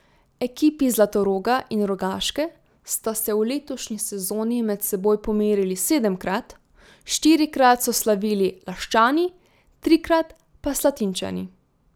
Ekipi Zlatoroga in Rogaške sta se v letošnji sezoni med seboj pomerili sedemkrat, štirikrat so slavili Laščani, trikrat pa Slatinčani.